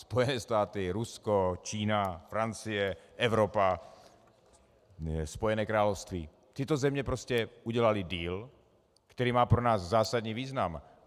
Spojené státy, Rusko, Čína, Francie, Evropa, Spojené království - tyto země prostě udělaly deal, který má pro nás zásadní význam.